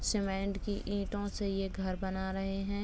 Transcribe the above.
Cement की ईंटों से यह घर बना रहे हैं।